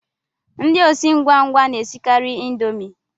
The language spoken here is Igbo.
Ndị osi ngwa ngwa na-esikari indomie